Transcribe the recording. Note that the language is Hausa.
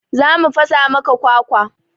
Za mu fasa maka kwakwa.